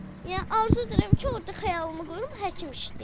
Yəni arzu edirəm ki, orda xəyalımı qurum, həkim işləyim.